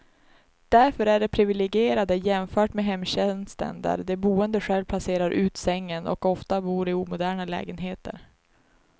Därför är de priviligierade jämfört med hemtjänsten där de boende själv placerar ut sängen, och ofta bor i omoderna lägenheter.